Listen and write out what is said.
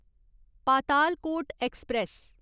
Patalkot express